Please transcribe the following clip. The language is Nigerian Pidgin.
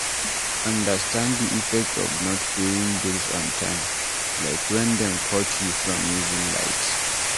Understand di effect of not paying bills on time, like when dem cut you from using light